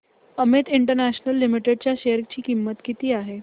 Amit international limited च्या share ची किंमत किती आहे